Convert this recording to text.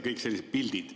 Kõik sellised pildid.